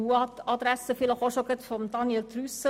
An die Adresse von Grossrat Trüssel: